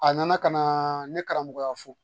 A nana ka na ne karamɔgɔya fɔ